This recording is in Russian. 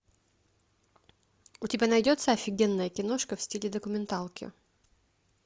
у тебя найдется офигенная киношка в стиле документалки